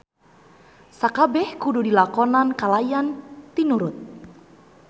Sakabeh kudu dilakonan kalayan tinurut.